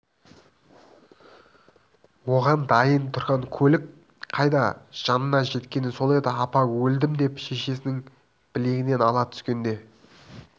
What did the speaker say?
оған дайын тұрған көлік қайда жанына жеткені сол еді апа өлдім деп шешесінің білегінен ала түскенде